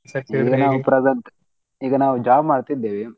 ಈಗ ನಾವ್ job ಮಾಡತಿದ್ದೇವೆ.